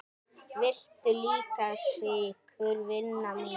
Viltu líka sykur, vina mín?